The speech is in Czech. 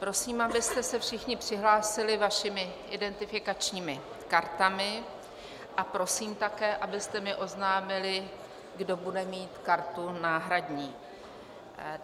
Prosím, abyste se všichni přihlásili svými identifikačními kartami, a prosím také, abyste mi oznámili, kdo bude mít kartu náhradní.